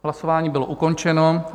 Hlasování bylo ukončeno.